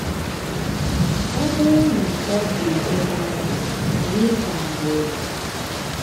Ọ bụrụ na ọ dị ebe ahụ, anyị ga-ahụ ya.